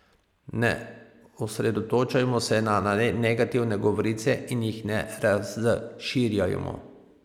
Ne osredotočajmo se na negativne govorice in jih ne razširjajmo.